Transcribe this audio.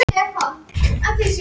Aukafundur um heilbrigðismál